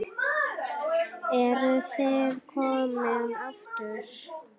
Eruð þið komin aftur?